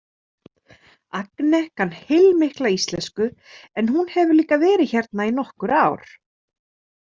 Agne kann heilmikla íslensku en hún hefur líka verið hérna í nokkur ár.